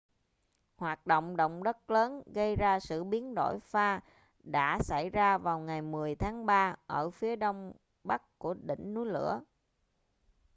hoạt động động đất lớn gây ra sự biến đổi pha đã xảy ra vào ngày 10 tháng 3 ở phía đông bắc của đỉnh núi lửa